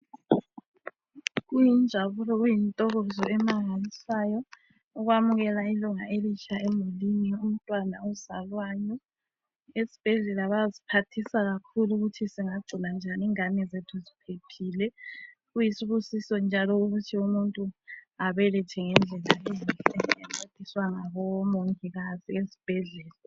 Kuyinjabulo kuyintokozo emangalisayo ukwamukela ilunga elitsha emulini umtwana ozalwayo. Esbhedlela bayasphathisa kakhulu ukuthi singagcina njani ingane zethu zphephile. Kuyisibusiso njalo ukuthi umuntu abelethe ngendlela elula encediswa ngabomongikazi esbhedlela.